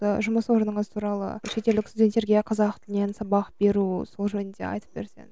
ы жұмыс орныңыз туралы шетелдік студенттерге қазақ тілінен сабақ беру сол жөнінде айтып берсең